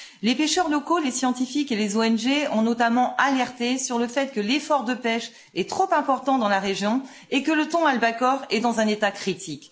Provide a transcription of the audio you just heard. Les pêcheurs locaux, les scientifiques et les ONG ont notamment alerté sur le fait que l'effort de pêche est trop important dans la région et que le thon albacore est dans un état critique.